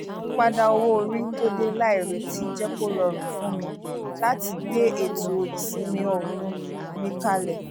ìpadà owó orí tó dé láìrètí jẹ́ kó rọrùn fún mi láti gbé ètò ìsimi ooru mi kalẹ̀